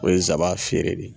O ye saban feere de ye.